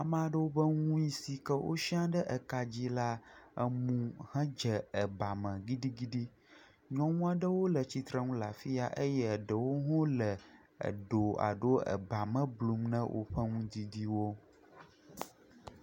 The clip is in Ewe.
Ameaɖewo be nui sike wosia ɖe kadzi la emu he dze eba me ɖiɖiɖi. Nyɔnua 'ɖewo le tsitre nu le afia eye eɖewo hã wole eɖo alo eba me blum nɛ woƒe nudidiwo.